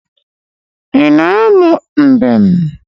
Ị na-amụ mbem?